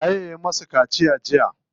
Waye ya musu kaciya jiya?